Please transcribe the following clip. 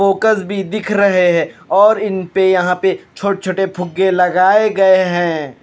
Focus भी दिख रहे हैं और इन पे यहाँ पे छोटे छोटे फुग्गे लगाए गए हैं।